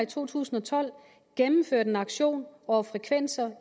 to tusind og tolv gennemført en auktion over frekvenser